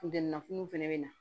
Funteniw fɛnɛ be na